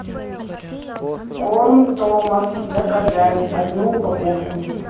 корм томас заказать одну упаковку